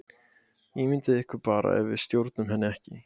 Ímyndið ykkur bara ef við stjórnuðum henni ekki!